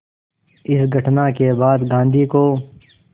इस घटना के बाद गांधी को